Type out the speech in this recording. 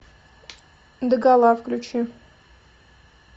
догола включи